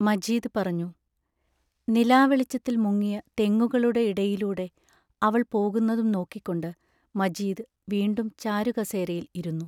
മജീദ് പറഞ്ഞു: നിലാവെളിച്ചത്തിൽ മുങ്ങിയ തെങ്ങുകളുടെ ഇടയിലൂടെ അവൾ പോകുന്നതും നോക്കിക്കൊണ്ട് മജീദ് വീണ്ടും ചാരു കസേരയിൽ ഇരുന്നു.